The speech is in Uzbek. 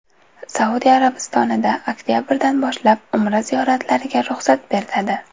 Saudiya Arabistonida oktabrdan boshlab Umra ziyoratlariga ruxsat beriladi.